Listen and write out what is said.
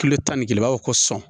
Kile tan ni kelen i b'a fɔ ko sɔn